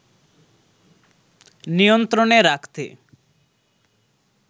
নিয়ন্ত্রণে রাখতে